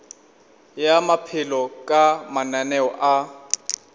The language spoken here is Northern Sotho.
ya maphelo ka mananeo a